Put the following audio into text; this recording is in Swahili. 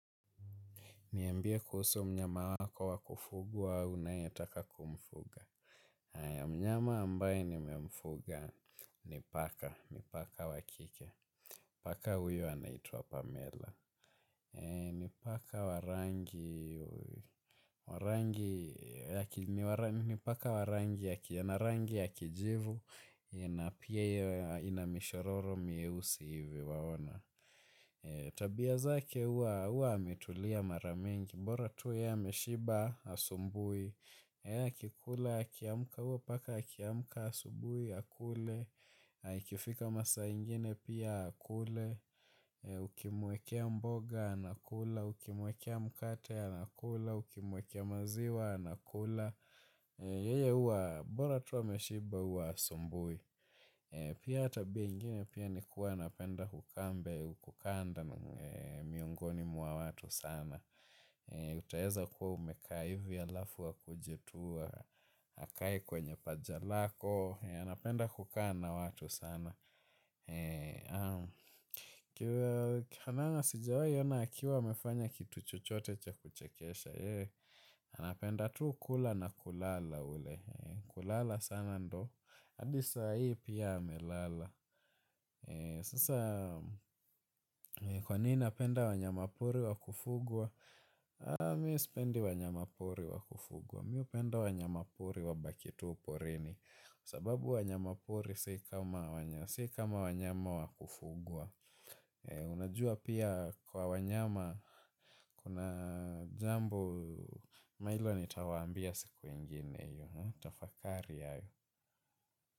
Niambie kuhusu mnyama wako wakufugwa unayetaka kumfuga. Mnyama ambaye nimemfuga ni paka, ni paka wa kike. Paka huyu anaitwa Pamela. N ipaka wa rangi ya kijivu na pia inamishororo mieusi hivi waona. Tabia zake huwa ametulia mara mingi bora tu yeye ameshiba hasubui akikula akiamka huwa paka akiamka asubuhi akule ikifika masaa ingine pia akule Ukimwekea mboga anakula Ukimwekea mkate anakula Ukimwekea maziwa anakula yeye huwa bora tu ameshiba huwa hasubui. Pia tabia ingine pia nikuwa anapenda kukaa mbe kukaa nda miongoni mwa watu sana. Utaeza kuwa umekaa hivi halafu akuje tua akae kwenye paja lako. Anapenda kukaa na watu sana Kihanana sijawahi ona akiwa amefanya kitu chochote cha kuchekesha. Anapenda tu kula na kulala ule kulala sana ndiyo hadi saa hii pia amelala. Sasa kwa nini napenda wanyama pori wa kufugwa. Mimi sipendi wanyama pori wa kufugwa mimi hupenda wanyama pori wabaki tu porini. Sababu wanyama pori si kama wanyama wa kufugwa. Unajua pia kwa wanyama kuna jambo. Ama hilo nitawaambia siku ingine hiyo tafakari hayo.